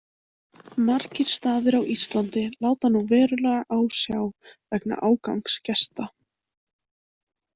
Margir staðir á Íslandi láta nú verulega á sjá vegna ágangs gesta.